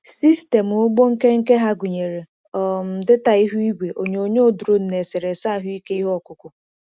Sistemụ ugbo nkenke ha gụnyere um data ihu igwe, onyonyo drone na eserese ahụike ihe ọkụkụ.